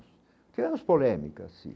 Que é uns polêmicas, sim.